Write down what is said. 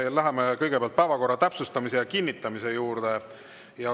Läheme kõigepealt päevakorra täpsustamise ja kinnitamise juurde.